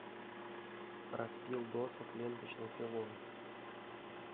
распил досок ленточной пилой